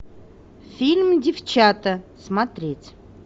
фильм девчата смотреть